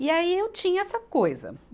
E aí eu tinha essa coisa.